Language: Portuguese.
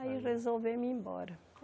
Aí resolvemos ir embora.